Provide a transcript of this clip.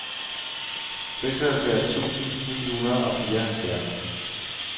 seksoghalvfjerds tusind ni hundrede og fireoghalvfjerds